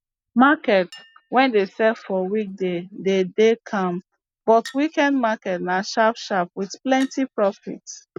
market wey dey sell for weekday de dey calm but weekend market na sharp sharp with plenty profit